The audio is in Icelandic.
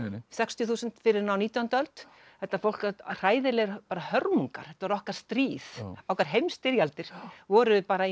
sextíu þúsund fyrr en á nítjándu öld þetta hræðilegar bara hörmungar þetta var okkar stríð okkar heimsstyrjaldir voru bara í